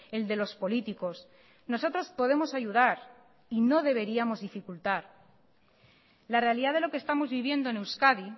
el de los políticos nosotros podemos ayudar y no deberíamos dificultar la realidad de lo que estamos viviendo en euskadi